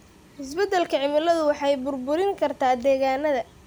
Isbeddelka cimiladu waxay burburin kartaa degaannada.